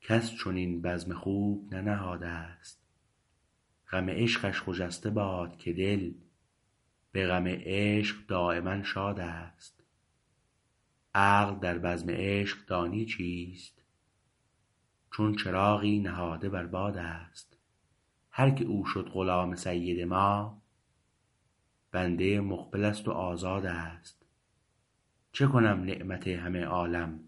کس چنین بزم خوب ننهادست غم عشقش خجسته باد که دل به غم عشق دایما شاد است عقل در بزم عشق دانی چیست چون چراغی نهاده بر باد است هرکه او شد غلام سید ما بنده مقبلست و آزاد است چه کنم نعمت همه عالم